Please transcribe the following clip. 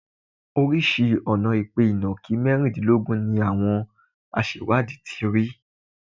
Oríṣìí ọ̀nà-ìpè ìnàkí mẹ́rìndínlógún ni àwọn aṣẹ̀wádìí ti rí.